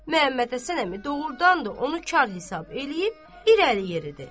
Məmmədhəsən əmi doğurdan da onu kar hesab eləyib irəli yeridi.